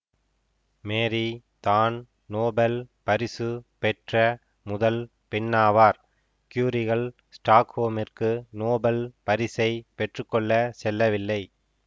Marie தான் Nobel பரிசு பெற்ற முதல் பெண்ணாவார் குயுரிகள் ச்டாக்ஹோமிற்கு நோபெல் பரிசை பெற்று கொள்ள செல்லவில்லை